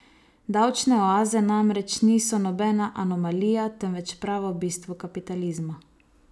Davčne oaze namreč niso nobena anomalija, temveč pravo bistvo kapitalizma.